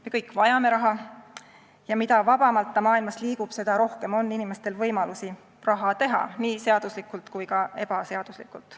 Me kõik vajame raha ja mida vabamalt ta maailmas liigub, seda rohkem on inimestel võimalusi raha teha, nii seaduslikult kui ka ebaseaduslikult.